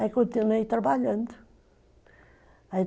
Aí continuei trabalhando.